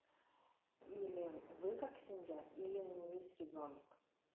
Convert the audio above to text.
или вы как семья или у неё есть ребёнок